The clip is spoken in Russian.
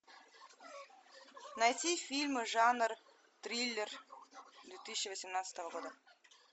найти фильмы жанр триллер две тысячи восемнадцатого года